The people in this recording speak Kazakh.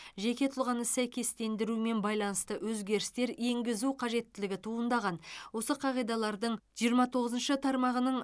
жеке тұлғаны сәйкестендірумен байланысты өзгерістер енгізу қажеттілігі туындаған осы қағидалардың жиырма тоғызыншы тармағының